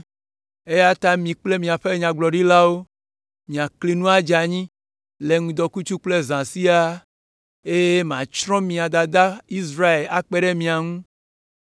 Eya ta mi kple míaƒe nyagblɔɖilawo miakli nu adze anyi le ŋdɔkutsu kple zã siaa, eye matsrɔ̃ mia dada Israel akpe ɖe mia ŋu.